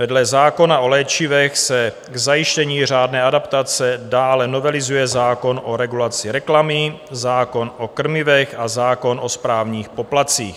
Vedle zákona o léčivech se k zajištění řádné adaptace dále novelizuje zákon o regulaci reklamy, zákon o krmivech a zákon o správních poplatcích.